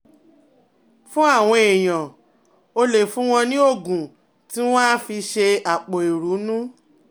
Fún àwọn èèyàn, o lè fún wọn ní oògùn tí wọ́n á fi ṣe àpò ìrunú